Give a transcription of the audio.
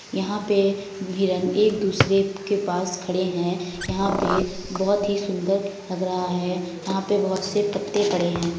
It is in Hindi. यहाँ पे हिरन एक दुसरे के पास खड़े हैं। यहाँ पे बहुत ही सुन्दर लग रहा है। यहां पे बहुत से पते पड़े हैं।